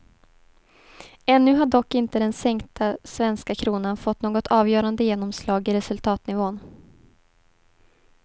Ännu har dock inte den sänkta svenska kronan fått något avgörande genomslag i resultatnivån.